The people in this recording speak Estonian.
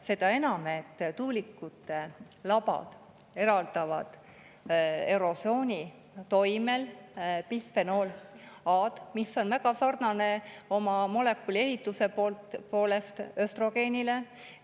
Seda enam, tuulikute labad eraldavad erosiooni toimel bisfenool A‑d, mis on molekuli ehituse poolest väga sarnane östrogeeniga.